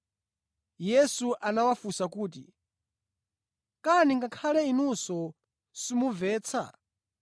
Yesu anawafunsa kuti, “Kani ngakhale inunso simumvetsa?